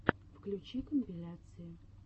включи компиляции